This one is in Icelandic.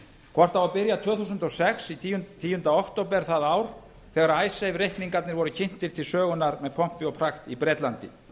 hvort á að byrja tvö þúsund og sex tíunda október það ár þegar icesave reikningarnir voru kynntir til sögunnar með pompi og prakt í bretlandi